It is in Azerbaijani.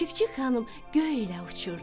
Çik-çik xanım göylə uçurdu.